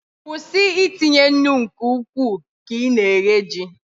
kwụsị itinye nnu nke ukwuu ka ị na-eghe ji